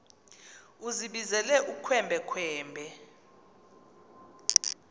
uzibizele ukhwembe khwembe